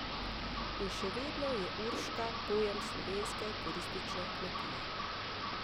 In še vedno je Urška pojem slovenske turistične kmetije!